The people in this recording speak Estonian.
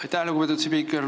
Aitäh, lugupeetud spiiker!